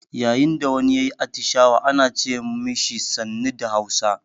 Yayin da wani ya yi atishawa ana ce ma shi "sannu" da Hausa.